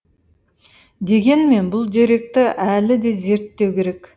дегенмен бұл деректі әлі де зерттеу керек